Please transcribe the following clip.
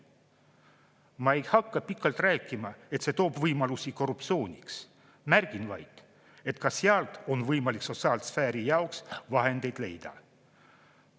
Ma ei hakka pikalt rääkima, et see toob võimalusi korruptsiooniks, märgin vaid, et ka sealt on võimalik sotsiaalsfääri jaoks vahendeid leida.